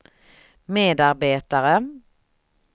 medarbetare